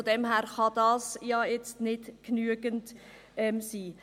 Von daher kann das nicht genügend sein.